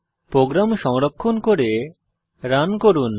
programme সংরক্ষণ করে run করুন